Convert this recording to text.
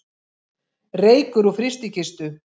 Reykur úr frystikistu